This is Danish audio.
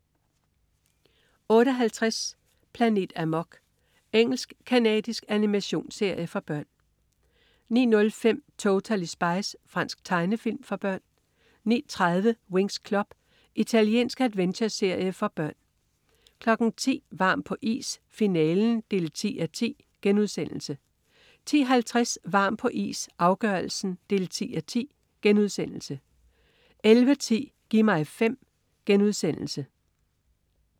08.50 Planet Amok. Engelsk-canadisk animationsserie for børn 09.05 Totally Spies. Fransk tegnefilm for børn 09.30 Winx Club. Italiensk adventureserie for børn 10.00 Varm på is, finalen 10:10* 10.50 Varm på is, afgørelsen 10:10* 11.10 Gi' mig 5*